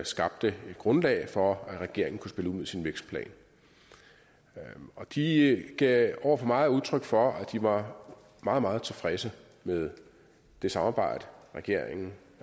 skabte grundlag for hvad regeringen kunne spille ud med sin vækstplan de gav over for mig udtryk for at de var meget meget tilfredse med det samarbejde regeringen